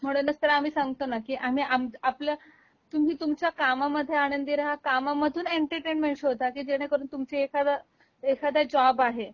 म्हणूनच तर आम्ही सांगतो ना की आम्ही आपल, तुम्ही तुमच्या कामामधे आनंदी रहा कामामधून एंटरटेनमेंट शोधा की जेणेकरून तुमची एखाद, एखादा जॉब आहे